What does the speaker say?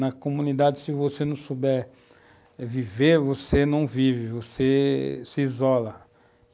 Na comunidade, se você não souber viver, você não vive, você se isola.